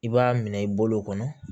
I b'a minɛ i bolo kɔnɔ